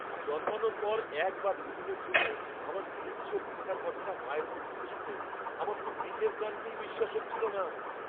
জন্মানোর পর এক বা দু'দিনের জন্য আমার নীল চোখ থাকার কথাটা মায়ের মুখ থেকে শুনে আমার তো নিজের কানকেই বিশ্বাস হচ্ছিল না!